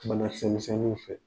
bana kisɛmisɛnniw fɛ